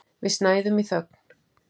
Við snæðum í þögn.